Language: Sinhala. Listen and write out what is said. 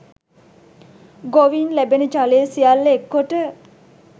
ගොවීන් ලැබෙන ජලය සියල්ල එක් කොට